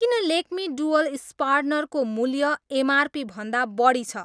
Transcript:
किन Lakme dual sharpener को मूल्य एमआरपी भन्दा बढी छ?